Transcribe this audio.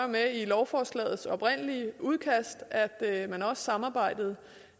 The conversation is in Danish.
med i lovforslagets oprindelige udkast at man også samarbejdede